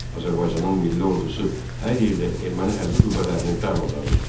Azərbaycanın milli ordusu hər yerdə erməni hərbi qüvvələrini darmadağın etdi.